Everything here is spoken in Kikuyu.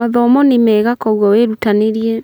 Mathomo nĩ mega koguo wĩrutanĩrie